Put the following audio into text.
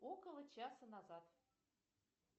около часа назад